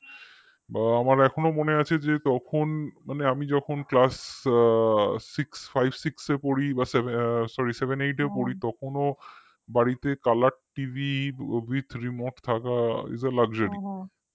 বা আমার এখনো মনে আছে যে তখন আমি যখন classsixfivesix এ পড়ি বা sorryseveneight এ পড়ি তখনো বাড়িতে colorTVwithremote থাকা isaluxury